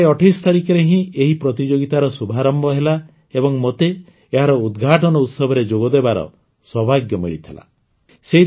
ଏଇ ଜୁଲାଇ ୨୮ ତାରିଖରେ ହିଁ ଏହି ପ୍ରତିଯୋଗିତାର ଶୁଭାରମ୍ଭ ହେଲା ଏବଂ ମୋତେ ଏହାର ଉଦ୍ଘାଟନ ଉତ୍ସବରେ ଯୋଗଦେବାର ସୌଭାଗ୍ୟ ମିଳିଥିଲା